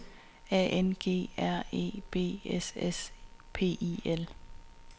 A N G R E B S S P I L